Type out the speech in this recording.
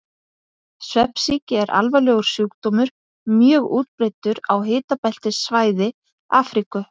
Svefnsýki er alvarlegur sjúkdómur, mjög útbreiddur á hitabeltissvæði Afríku.